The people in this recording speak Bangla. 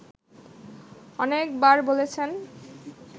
অনেক বার বলেছেন